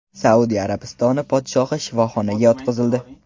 Saudiya Arabistoni podshohi shifoxonaga yotqizildi.